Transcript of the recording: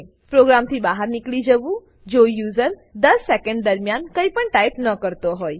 પ્રોગ્રામથી બહાર નીકળી જવુંજો યુઝર 10 સેકેંડ દરમ્યાન કઈપણ ટાઈપ ન કરતો હોય